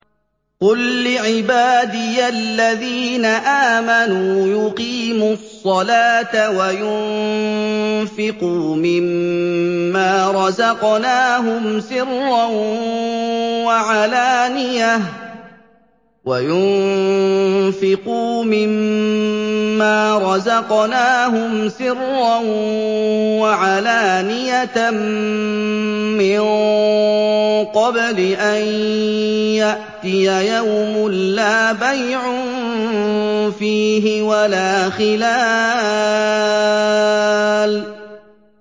قُل لِّعِبَادِيَ الَّذِينَ آمَنُوا يُقِيمُوا الصَّلَاةَ وَيُنفِقُوا مِمَّا رَزَقْنَاهُمْ سِرًّا وَعَلَانِيَةً مِّن قَبْلِ أَن يَأْتِيَ يَوْمٌ لَّا بَيْعٌ فِيهِ وَلَا خِلَالٌ